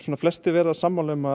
flestir eru sammála um að